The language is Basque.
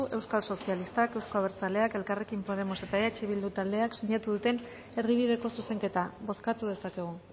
euskal sozialistak euzko abertzaleak elkarrekin podemos eta eh bildu taldeek sinatu duten erdibideko zuzenketa bozkatu dezakegu